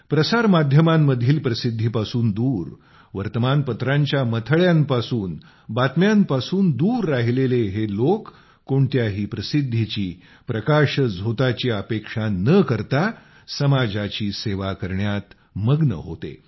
प्रसारमाध्यमांमधील प्रसिद्धीपासून दूर वर्तमानपत्रांच्या मथळ्यांपासून बातम्यांपासून दूर राहिलेले हे लोक कोणत्याही प्रसिद्धीची प्रकाशझोताची अपेक्षा न करता समाजाची सेवा करण्यात मग्न होते